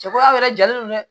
Cɛ ko aw yɛrɛ jalen no dɛ